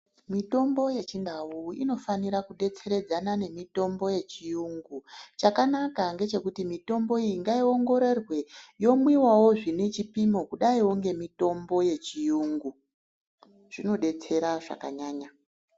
Mitombo yechindau inofanira kudetseredzana nemitombo yechiyungu chakanaka ngechekuti mitombo iyi ngaiongororwe yomwiwawo zvinechipimo kudaiwo ngemitombo yechiyungu zvinodetsera zvakananyanya.